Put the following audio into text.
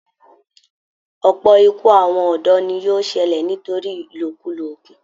Ọ̀pọ̀ ikú àwọn ọ̀dọ́ ni yóò ṣẹlẹ̀ nítorí ìlòkulò oògùn